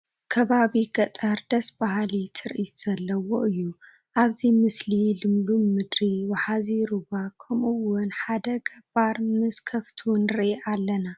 ከባቢ ገጠር ደስ በሃሊ ትርኢት ዘለዎ እዩ፡፡ ኣብዚ ምስሊ ልምሉም ምድሪ፣ ወሓዚ ሩባ ከምኡውን ሓደ ገባር ምስ ኣኻፍቱ ንርኢ ኣለና፡፡